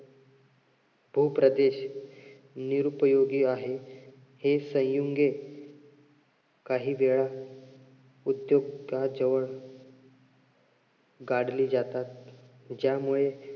भूप्रदेश निरुपयोगी आहे. हे सयुंगे काही वेळा उद्योगाजवळ काढली जातात. ज्यामुळे